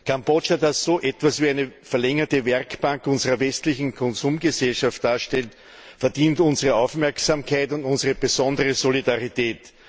Kambodscha, das so etwas wie eine verlängerte Werkbank unserer westlichen Konsumgesellschaft darstellt, verdient unsere Aufmerksamkeit und unsere besondere Solidarität.